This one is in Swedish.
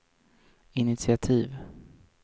initiativ